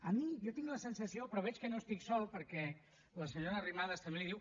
a mi jo tinc la sensació però veig que no estic sol perquè la senyora arrimadas també li ho diu